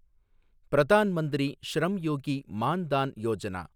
Pradhan Mantri Shram Yogi Maan Dhan Yojana